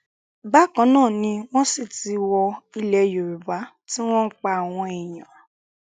bákan náà ni wọn sì ti wọ ilẹ yorùbá tí wọn ń pa àwọn èèyàn